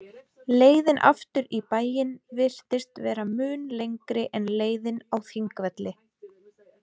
Leiðin aftur í bæinn virtist vera mun lengri en leiðin á Þingvelli.